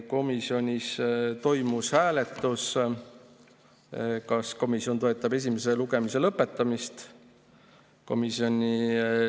Komisjonis toimus hääletus, kas komisjon toetab esimese lugemise lõpetamist.